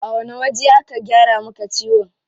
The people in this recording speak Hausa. A wani waje aka gyara maka ciwon?